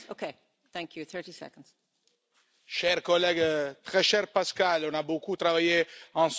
Chers collègues, très cher Pascal, on a beaucoup travaillé ensemble sur beaucoup de dossiers dans les années passées.